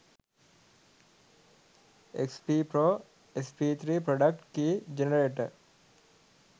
xp pro sp3 product key generator